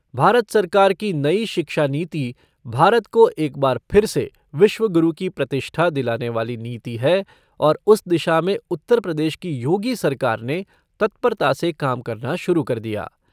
भारत सरकार की नई शिक्षा नीति भारत को एक बार फिर से विश्व गुरू की प्रतिष्ठा दिलाने वाली नीति है और उस दिशा में उत्तर प्रदेश की योगी सरकार ने तत्परता से काम करना शुरू कर दिया।